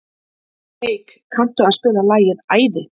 Eik, kanntu að spila lagið „Æði“?